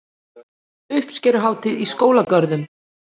Uppskeruhátíð í skólagörðum